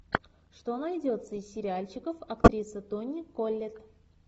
что найдется из сериальчиков актрисы тони коллетт